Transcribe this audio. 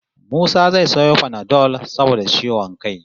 Musa zai sayo panadol saboda ciwon kai